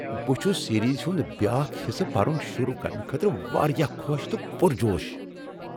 بہٕ چھس سیریز ہُند بیاکھ حصہٕ پرُن شروع کرنہٕ خٲطرٕ واریاہ خوش تہٕ پُرجوش۔